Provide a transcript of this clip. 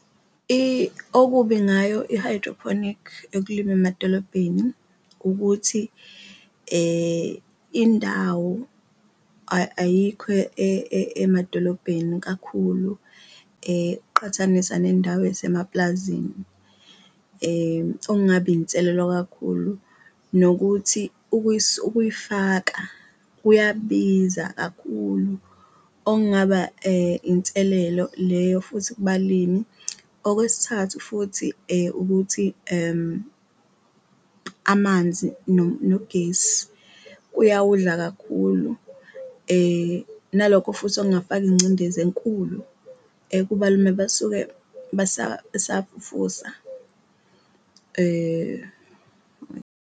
Okubi ngayo i-hydroponic yokulima emadolobheni ukuthi indawo ayikho emadolobheni kakhulu uqathanisa nendawo esemaplazini, okungaba inselelo kakhulu nokuthi ukuyifaka kuyabiza kakhulu okungaba inselelo leyo futhi kubalimi. Okwesithathu, futhi ukuthi amanzi nogesi kuyawudla kakhulu nalokho futhi okungafaka ingcindezi enkulu kuba lume basuke besafufusa .